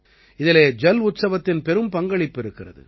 இதிலே ஜல் உற்சவத்தின் பெரும் பங்களிப்பு இருக்கிறது